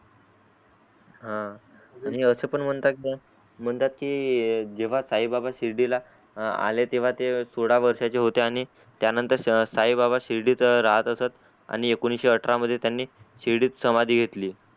हा आणि अस पण म्हणतात की जेव्हा साई बाबा शिर्डीला आले तेव्हा ते सोडा वर्षाचे होते आणि त्यानंतर साई बाबा शिर्डीत राहत असत आणि एकोणविशे अठरा मध्ये त्यांनी शिर्डीत समाधी घेतली.